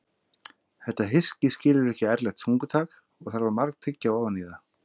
Þetta hyski skilur ekki ærlegt tungutak og þarf að margtyggja ofan í það.